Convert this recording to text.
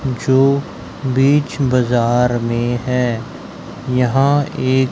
जो बीच बाजार में है यहां एक--